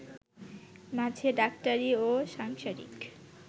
মাঝে ডাক্তারি ও সাংসারিক